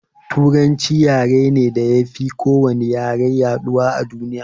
Turanci yare ne da yafi ko wani yare yaɗuwa a duniya